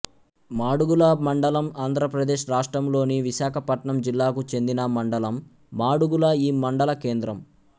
మాడుగుల మండలం ఆంధ్రప్రదేశ్ రాష్ట్రములోని విశాఖపట్నం జిల్లాకు చెందిన మండలం మాడుగుల ఈ మండల కేంద్రం